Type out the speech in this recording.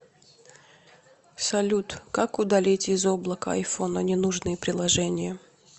салют как удалить из облака айфона ненужные приложения